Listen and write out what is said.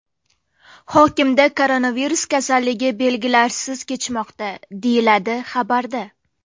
Hokimda koronavirus kasalligi belgilarsiz kechmoqda”, deyiladi xabarda.